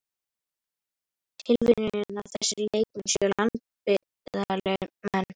Tilviljun að þessir leikmenn séu landsbyggðarmenn?